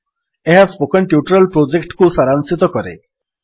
ଏହା spoken tutorial ପ୍ରୋଜେକ୍ଟକୁ ସାରାଂଶିତ କରେ